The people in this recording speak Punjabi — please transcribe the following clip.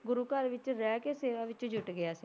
ਗੁਰੂ ਘਰ ਵਿੱਚ ਰਹਿ ਕੇ ਸੇਵਾ ਵਿੱਚ ਜੁਟ ਗਿਆ ਸੀ।